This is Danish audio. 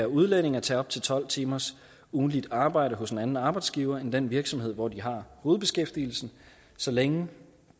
udlændinge at tage op til tolv timers ugentligt arbejde hos en anden arbejdsgiver end den virksomhed hvor de har hovedbeskæftigelsen så længe